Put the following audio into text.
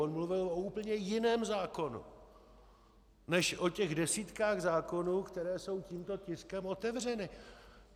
On mluvil o úplně jiném zákonu než o těch desítkách zákonů, které jsou tímto tiskem otevřeny.